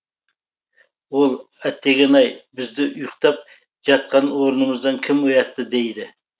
ол әттеген ай бізді ұйықтап жатқан орнымыздан кім оятты дейді